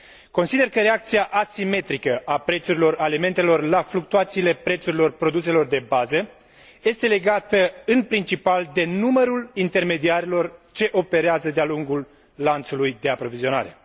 Consider că reacția asimetrică a prețurilor alimentelor la fluctuațiile prețurilor produselor de bază este legată în principal de numărul intermediarilor ce operează de a lungul lanțului de aprovizionare.